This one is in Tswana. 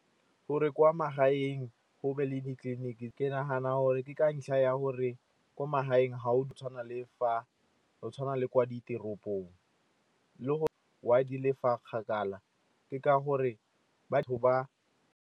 Gore kwa magaeng go be le ditleliniki, ke nagana gore ke ka ntlha ya gore ko magaeng ga go tshwane le kwa ditoropong. Le gore why di le fa kgakala ke ka gore batho ba.